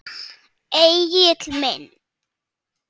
Egill minn.